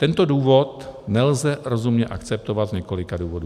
Tento důvod nelze rozumně akceptovat z několika důvodů.